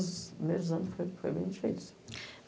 Os primeiros anos foi foi bem difícil.